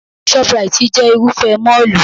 Shop-rite jẹ́ Irúfẹ́ mọ́ọ̀lù